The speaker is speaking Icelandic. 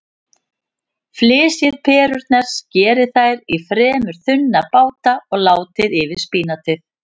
Flysjið perurnar, skerið þær í fremur þunna báta og látið yfir spínatið.